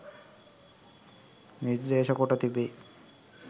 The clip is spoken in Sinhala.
නිර්දේශ කොට තිබේ.